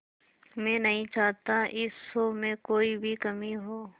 मैं नहीं चाहता इस शो में कोई भी कमी हो